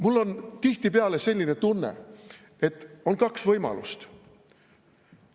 Mul on tihtipeale selline tunne, et on kaks võimalust.